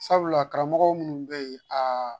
Sabula karamɔgɔ minnu be ye aa